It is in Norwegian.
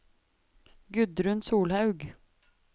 Gudrun Solhaug